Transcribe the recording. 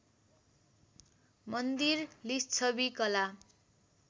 मन्दिर लिच्छवि कला